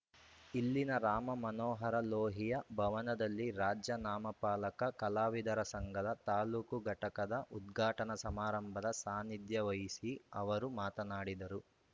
ಇಲ್ಲಿನ ರಾಮ ಮನೋಹರ ಲೋಹಿಯ ಭವನದಲ್ಲಿ ರಾಜ್ಯ ನಾಮಫಲಕ ಕಲಾವಿದರ ಸಂಘದ ತಾಲೂಕು ಘಟಕದ ಉದ್ಘಾಟನಾ ಸಮಾರಂಭದ ಸಾನ್ನಿಧ್ಯವಹಿಸಿ ಅವರು ಮಾತನಾಡಿದರು